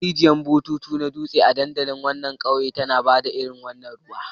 Na ga rijiyar bututu ta nutse a dandalin ƙauyen tana ba da irin wannan ruwan.